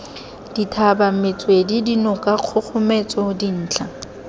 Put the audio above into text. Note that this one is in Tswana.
dithaba metswedi dinoka kgogometso dintlha